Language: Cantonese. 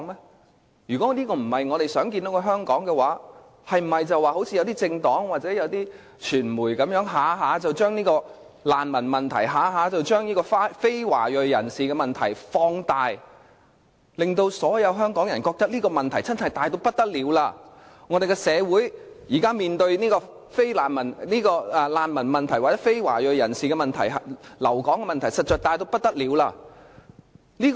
當然不是，但我們是否就應如一些政黨或傳媒般，動輒把難民問題、非華裔人士的問題放大，令所有香港人覺得這個問題真的十分嚴重，香港社會現時面對難民或非華裔人士留港的問題實在十分嚴重？